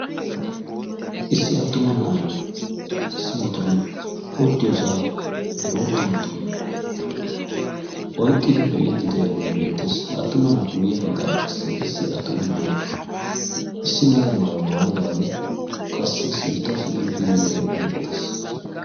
Issi atuma na'ay bootta motoriyo oyqqiddage beetees. Haga matan issi biidde de'iya na'ay beettes.